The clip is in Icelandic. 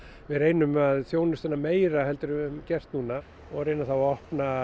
við reynum að þjónusta hana meira en við höfum gert núna reyna að opna